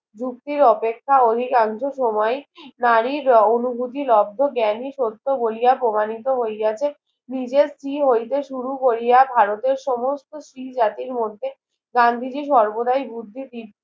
যুক্তির অপেক্ষা অধিকাংশ সময় নারীর অনুভূতি লব্ধ জ্ঞানী শর্ত বলিয়া প্রমাণিত হইয়াছে নিজের স্ত্রী হইতে শুরু কোরিয়া ভারতের সমস্ত স্ত্রী জাতির মধ্যে গান্ধীজি সর্বদায় বুদ্ধি